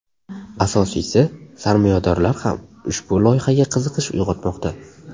Asosiysi – sarmoyadorlar ham ushbu loyihaga qiziqish uyg‘otmoqda.